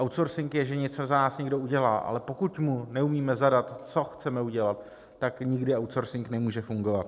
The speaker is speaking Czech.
Outsourcing je, že něco za nás někdo udělá, ale pokud mu neumíme zadat, co chceme udělat, tak nikdy outsourcing nemůže fungovat.